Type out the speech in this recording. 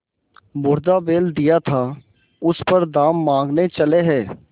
मुर्दा बैल दिया था उस पर दाम माँगने चले हैं